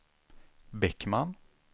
Bäckman